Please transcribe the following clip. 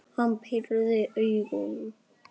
Hann pírði augun.